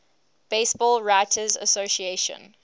baseball writers association